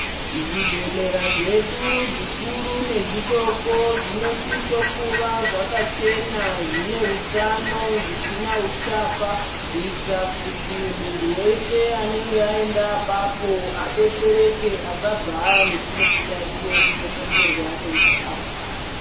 Zvibhehlera zvedu zvikuru nezvidoko zvinosiso kuva zvakachena zvine utano zvisina uchapa kuitira kuti muntu wese anenge aenda apapo adetsereke asabva ane chimwe chiyaiyo chinokonzerwa neuchapa.